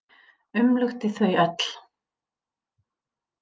Umlukti þau öll.